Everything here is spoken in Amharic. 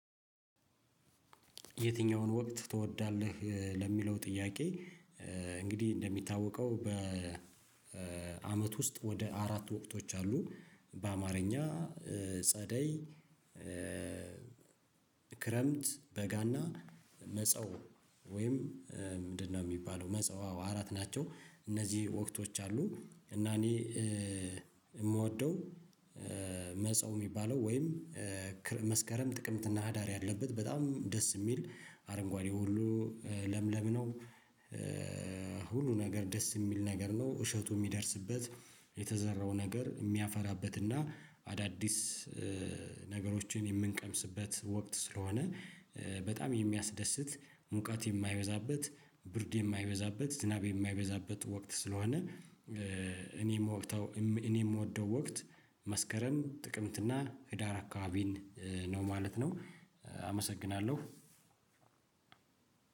የትኛውን ወቅት ትወዳለህ? ለሚለው ጥያቄ እንግዲህ እንደሚታወቀው በአመት ውስጥ ወደ አራት ወቅቶች አሉ። በአማርኛ ጸደይ፣ ክረምት፣ በጋና መጸው ወይም ምንድነው የሚባለው መጸው አወ አራት ናቸው። እነዚህ ወቅቶች አሉ። እና እኔ የምወደው መጸው ሚባለው ወይም መስከረም፣ ጥቅምትና ህዳር ያለበት በጣም ደስ የሚል አረንጓዴ ሁሉ ለምለም ነው። ሁሉ ነገር ደስ የሚል ነገር ነው። እሸቱ የሚደርስበት፣ የተዘራው ነገር የሚያፈራበት እና አዳዲስ ነገሮችን የምንቀምስበት ወቅት ስለሆነ በጣም የሚያስደስት፣ ሙቀት የማይበዛበት፣ ብርድ የማይበዛበት፣ ዝናብ የማይበዛበት ወቅት ስለሆነ እኔም እኔም የምወደው ወቅት መስከረም፣ ጥቅምትና ህዳር አካባቢን ነው ማለት ነው። አመሰግናለሁ።